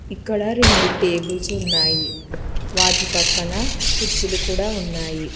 ఇక్కడ రెండు టేబుల్స్ ఉన్నాయి వాటి పక్కన కుర్చీలు కూడా ఉన్నాయి.